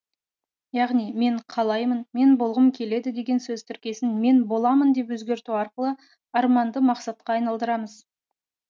яғни мен қалаймын мен болғым келеді деген сөз тіркесін мен боламын деп өзгерту арқылы арманды мақсатқа айналдырамыз